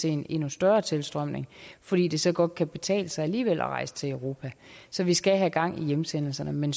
en endnu større tilstrømning fordi det så godt kan betale sig alligevel at rejse til europa så vi skal have gang i hjemsendelserne men